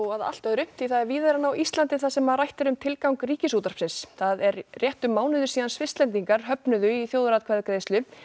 að allt öðru því það er víðar en á Íslandi þar sem rætt er um tilgang Ríkisútvarpsins það er rétt um mánuður síðan Svisslendingar höfnuðu í þjóðaratkvæðagreiðslu